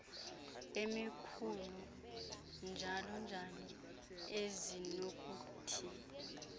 emikhulu njalonjalo ezinokuthi